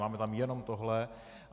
Máme tam jenom tohle.